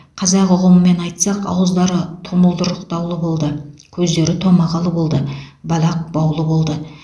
қазақ ұғымымен айтсақ ауыздары тұмылдырықтаулы болды көздері томағалы болды балақ баулы болды